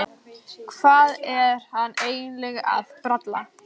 Hvað var hann eiginlega að bralla?